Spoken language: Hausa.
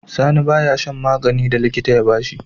Sani baya shan maganin da likita ya bashi